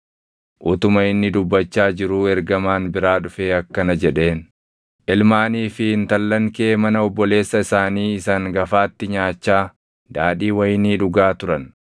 Utuma inni dubbachaa jiruu ergamaan biraa dhufee akkana jedheen; “Ilmaanii fi intallan kee mana obboleessa isaanii isa hangafaatti nyaachaa, daadhii wayinii dhugaa turan;